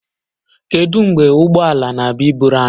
Kedu mgbe ụgbọ ala na-abịa iburu anyị?